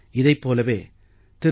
இதைப் போலவே திரு